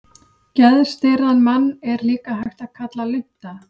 Geðstirðan mann er líka hægt að kalla lunta.